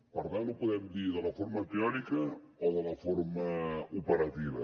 per tant ho podem dir de la forma teòrica o de la forma operativa